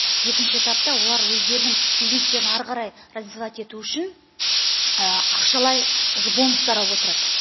екінші этапта олар өздерінің бизнестерін ары қарай развивать ету үшін ақшалай уже бонустар ап отырады